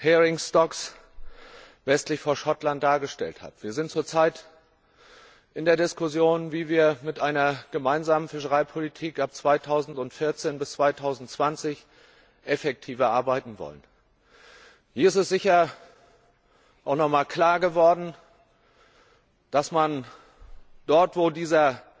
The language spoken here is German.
Heringsbestands westlich von Schottland dargestellt hat. Wir sind zurzeit in der Diskussion, wie wir in der gemeinsamen Fischereipolitik von 2014 bis 2020 effektiver arbeiten wollen. Hier ist sicher auch noch mal klar geworden, dass man dort, wo uns dieser